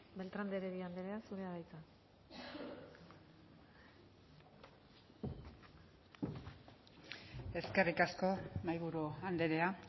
beltran de heredia andrea zurea da hitza eskerrik asko mahaiburu andrea